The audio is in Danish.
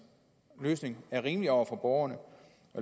løsning er rimelig over for borgerne